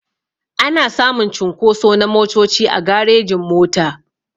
Ana samun cunkoso na motoci a garejin-mota.